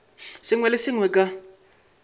sengwe le se sengwe ka